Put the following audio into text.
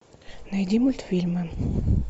найди мультфильмы